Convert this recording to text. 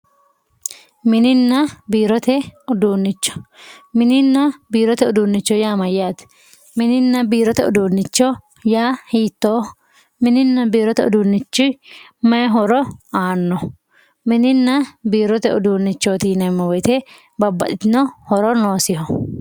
mininna biirote uduunne. mininna biirote uduunnicho yaa mayyaate mininna biirote uduunnicho yaa hiittooho mininna biirote uduunnichi may horo aanno mininna biirote uduunnicho yineemmo woyiite babbaxxitino horo noosiho.